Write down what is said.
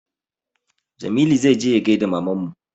Jamilu zai je ya gaida mamanmu